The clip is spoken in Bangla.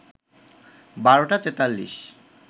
১২টা ৪৩